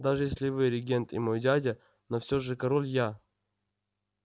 даже если вы регент и мой дядя но все же король я